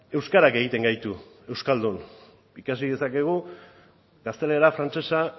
euskarak egiten gaitu euskaldun ikasi dezakegu gaztelera frantsesa